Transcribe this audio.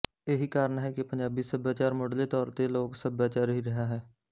ਇਹੀ ਕਾਰਨ ਹੈ ਕਿ ਪੰਜਾਬੀ ਸੱਭਿਆਚਾਰ ਮੁੱਢਲੇ ਤੌਰ ਤੇ ਲੋਕ ਸੱਭਿਆਚਾਰ ਹੀ ਰਿਹਾ ਹੈ